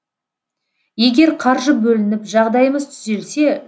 егер қаржы бөлініп жағдайымыз түзелсе